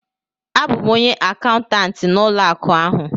A bụ m onye akaụntantị n'ụlọ akụ ahụ